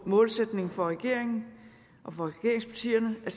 målsætning for regeringen og for regeringspartierne at